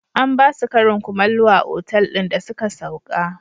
An ba su karin kumallo a otal ɗin da suka sauka.